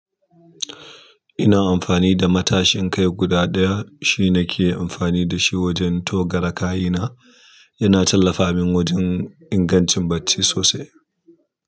Ina amfani da matashin kai guda ɗaya shi na ke amfani da shi wajen togare kayina. Yana tallafa min wajen ingancin bacci sosai.